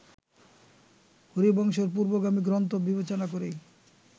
হরিবংশের পূর্বগামী গ্রন্থ বিবেচনা করি